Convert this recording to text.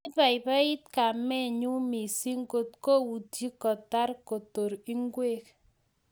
Kibaibait kamenyu mising kot koutyee kotar kotor ngwek